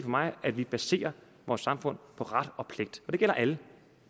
mig at vi baserer vores samfund på ret og pligt og det gælder alle